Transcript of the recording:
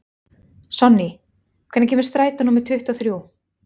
Sonný, hvenær kemur strætó númer tuttugu og þrjú?